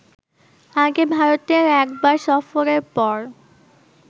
আগে ভারতের একবার সফরের পর